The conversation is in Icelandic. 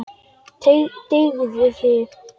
Teygðu þig.